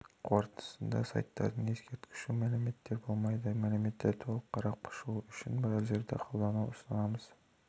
қортындысында сайттарда ескертуші мәліметтер болмайды мәліметті толық қарап шығу үшін браузерді қолдануды ұсынамыз